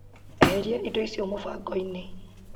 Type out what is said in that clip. Eheria indo icio mũbango-inĩ .